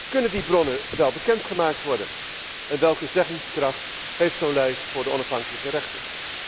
Kunnen die bronnen wel bekendgemaakt worden en welke zeggingskracht heeft zo'n lijst voor de onafhankelijke rechter?